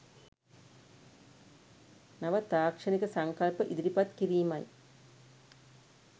නව තාක්‍ෂණික සංකල්ප ඉදිරිපත් කිරීමයි.